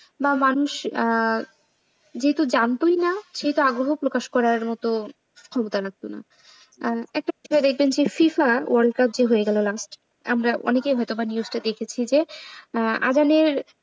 বা মানুষ যেহেতু জানতোই না সেটা আগ্রহ প্রকাশ করার মতো ক্ষমতা রাখতো না recently FIFA world cup যে হয়ে গেলো last আমরা অনেকেই হয়তো news দেখেছি যে আগামীর,